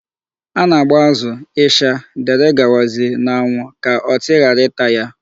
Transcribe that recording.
A na-agba azụ, ịsha, dgz n'anwụ ka ọtị ghara ịta ya.